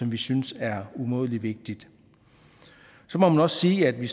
vi synes er umådelig vigtigt så må man også sige at vi